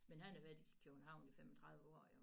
Men han har været i København i 35 år jo